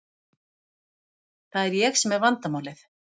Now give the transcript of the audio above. Það er ég sem er vandamálið.